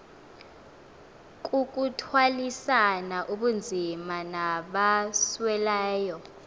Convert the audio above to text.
kukuthwalisana ubunzima nabasweleyo